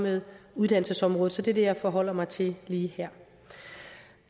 med uddannelsesområdet så det er det jeg forholder mig til lige her